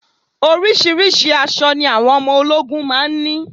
Oríṣiríṣi àṣọ ni àwọn ọmọ ológun máa ń ní